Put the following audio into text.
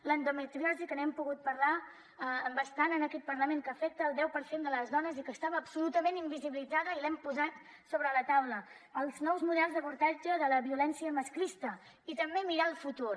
l’endometriosi que n’hem pogut parlar bastant en aquest parlament que afecta el deu per cent de les dones i que estava absolutament invisibilitzada i l’hem posat sobre la taula els nous models d’abordatge de la violència masclista i també mirar al futur